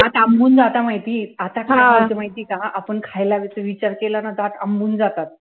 दात आंबून जाता माहिती आता काय होतं माहितीये का आपण खायला असं विचार विचार केला ना, दात आंबून जातात